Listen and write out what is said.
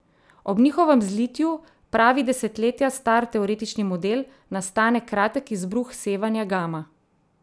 Ob njihovem zlitju, pravi desetletja star teoretični model, nastane kratek izbruh sevanja gama.